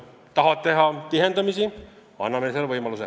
Kui nad tahavad teha liinide tihendamisi, anname selle võimaluse.